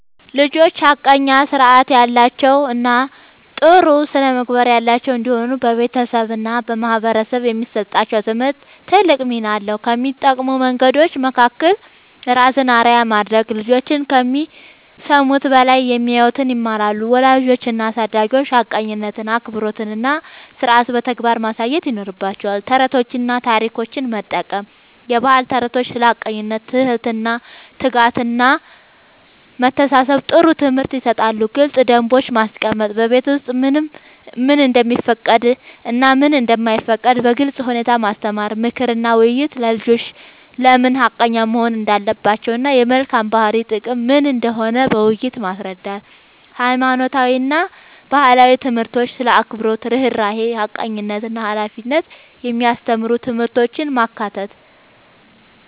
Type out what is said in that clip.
ልጆች ሐቀኛ፣ ሥርዓት ያላቸው እና ጥሩ ስነ-ምግባር ያላቸው እንዲሆኑ በቤተሰብ እና በማህበረሰብ የሚሰጣቸው ትምህርት ትልቅ ሚና አለው። ከሚጠቅሙ መንገዶች መካከል፦ ራስን አርአያ ማድረግ፦ ልጆች ከሚሰሙት በላይ የሚያዩትን ይማራሉ። ወላጆች እና አሳዳጊዎች ሐቀኝነትን፣ አክብሮትን እና ሥርዓትን በተግባር ማሳየት ይኖርባቸዋል። ተረቶችን እና ታሪኮችን መጠቀም፦ የባህል ተረቶች ስለ ሐቀኝነት፣ ትህትና፣ ትጋት እና መተሳሰብ ጥሩ ትምህርት ይሰጣሉ። ግልጽ ደንቦች ማስቀመጥ፦ በቤት ውስጥ ምን እንደሚፈቀድ እና ምን እንደማይፈቀድ በግልጽ ሁኔታ ማስተማር። ምክር እና ውይይት፦ ልጆች ለምን ሐቀኛ መሆን እንዳለባቸው እና የመልካም ባህሪ ጥቅም ምን እንደሆነ በውይይት ማስረዳት። ሃይማኖታዊ እና ባህላዊ ትምህርቶች ስለ አክብሮት፣ ርህራሄ፣ ሐቀኝነት እና ሃላፊነት የሚያስተምሩ ትምህርቶችን ማካተት።